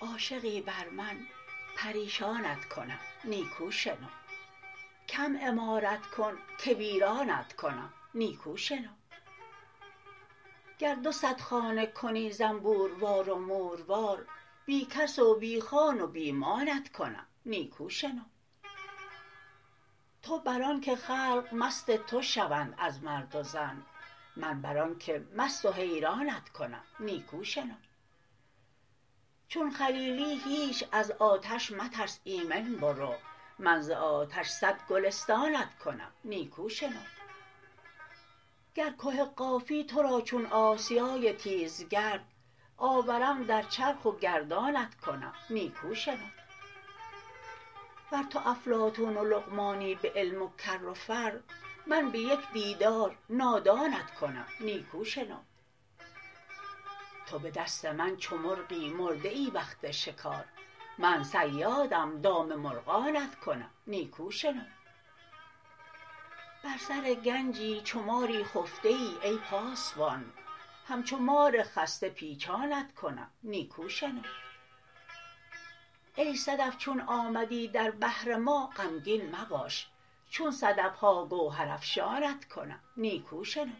عاشقی بر من پریشانت کنم نیکو شنو کم عمارت کن که ویرانت کنم نیکو شنو گر دو صد خانه کنی زنبوروار و موروار بی کس و بی خان و بی مانت کنم نیکو شنو تو بر آنک خلق مست تو شوند از مرد و زن من بر آنک مست و حیرانت کنم نیکو شنو چون خلیلی هیچ از آتش مترس ایمن برو من ز آتش صد گلستانت کنم نیکو شنو گر که قافی تو را چون آسیای تیزگرد آورم در چرخ و گردانت کنم نیکو شنو ور تو افلاطون و لقمانی به علم و کر و فر من به یک دیدار نادانت کنم نیکو شنو تو به دست من چو مرغی مرده ای وقت شکار من صیادم دام مرغانت کنم نیکو شنو بر سر گنجی چو ماری خفته ای ای پاسبان همچو مار خسته پیچانت کنم نیکو شنو ای صدف چون آمدی در بحر ما غمگین مباش چون صدف ها گوهرافشانت کنم نیکو شنو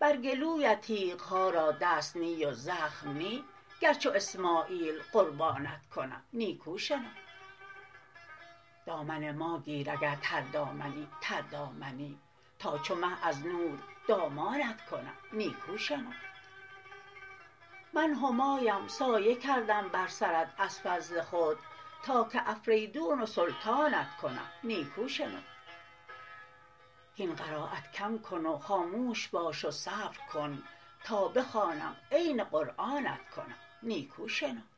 بر گلویت تیغ ها را دست نی و زخم نی گر چو اسماعیل قربانت کنم نیکو شنو دامن ما گیر اگر تردامنی تردامنی تا چو مه از نور دامانت کنم نیکو شنو من همایم سایه کردم بر سرت از فضل خود تا که افریدون و سلطانت کنم نیکو شنو هین قرایت کم کن و خاموش باش و صبر کن تا بخوانم عین قرآنت کنم نیکو شنو